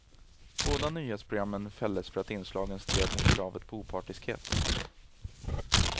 Båda nyhetsprogrammen fälldes för att inslagen stred mot kravet på opartiskhet.